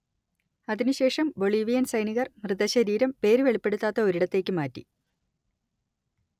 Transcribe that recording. അതിനുശേഷം ബൊളീവിയൻ സൈനികർ മൃതശരീരം പേര് വെളിപ്പെടുത്താത്ത ഒരിടത്തേക്ക് മാറ്റി